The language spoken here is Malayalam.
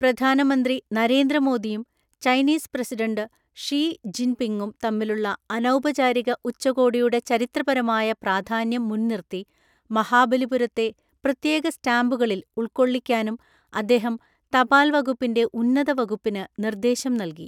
പ്രധാനമന്ത്രി നരേന്ദ്ര മോദിയുംചൈനീസ് പ്രസിഡന്റ് ഷി ജിന്പിങ്ങും തമ്മിലുള്ള അനൗപചാരിക ഉച്ചകോടിയുടെചരിത്രപരമായ പ്രാധാന്യം മുന്‍നിര്‍ത്തി മഹാബലിപുരത്തെ പ്രത്യേക സ്റ്റാമ്പുകളില്‍ ഉള്‍ക്കൊള്ളിക്കാനും അദ്ദേഹം തപാല്‍ വകുപ്പിന്റെ ഉന്നതവകുപ്പിന് നിര്‍ദ്ദേശം നല്കി.